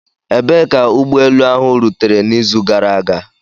Ebee ka ụgbọ elu ahụ rutere n'izu gara aga?